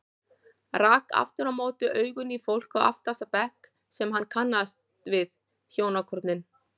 Rak aftur á móti augun í fólk á aftasta bekk sem hann kannaðist við, hjónakornin